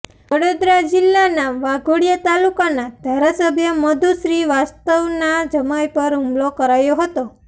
વડોદરા જિલ્લાના વાઘોડિયા તાલુકાના ધારાસભ્ય મધુ શ્રીવાસ્તવના જમાઈ પર હુમલો કરાયો હતો